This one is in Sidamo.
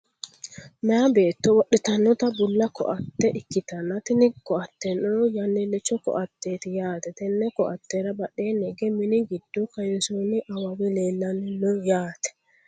meyaa beetto wodhitannota bulla koatte ikkitanna, tini koatteno yannilicho koatteeti yaate, tenne koattera badheenni hige mini giddo kayiinsoonni awawi leellanni no yaate.